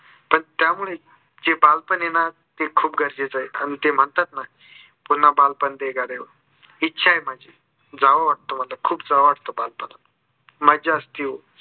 पण त्या मुळेच जे बाल पण आहे ना ते खूप गरजेचे आहे. कारण ते म्हणतात ना पुन्हा बालपण दे गड्या इच्छा आहे माझी जावं वाटतं मला खूप जावं वाटतं बालपणात. मज्जा असती ओ